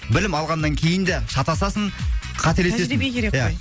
білім алғаннан кейін де шатасасың қателесесің тәжірибе керек қой ия